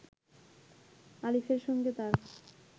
আলিফের সঙ্গে তার